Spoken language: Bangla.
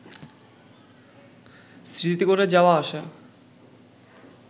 স্মৃতি করে যাওয়া আসা